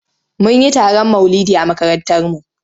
Mun yi taron maulidi a makarantarmu.